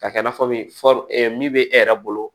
Ka kɛ i n'a fɔ min min bɛ e yɛrɛ bolo